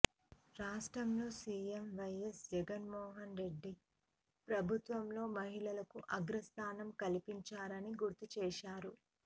రాష్ట్రంలో సీఎం వైఎస్ జగన్మోహన్ రెడ్డి ప్రభుత్వంలో మహిళలకు అగ్రస్థానం కల్పించారని గుర్తుచేశారు